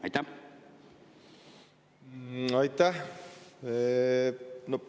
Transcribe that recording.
Aitäh!